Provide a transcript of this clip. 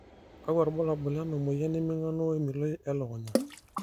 kakua irbulabol lena moyian e mingano we miloi elukunya?